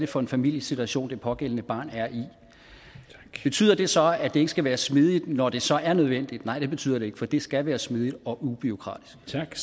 for en familiesituation det pågældende barn er i betyder det så at det ikke skal være smidigt når det så er nødvendigt nej det betyder det ikke for det skal være smidigt og ubureaukratisk